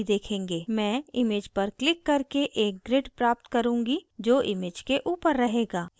मैं image पर click करके एक grid प्राप्त करुँगी जो image के ऊपर रहेगा